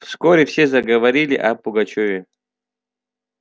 вскоре все заговорили о пугачёве